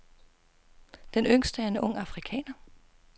Den yngste er en ung afrikaner.